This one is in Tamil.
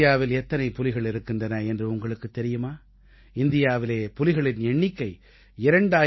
இந்தியாவில் எத்தனை புலிகள் இருக்கின்றன என்று உங்களுக்குத் தெரியுமா இந்தியாவிலே புலிகளின் எண்ணிக்கை 2967